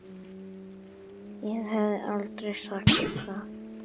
Ég hefði aldrei sagt það.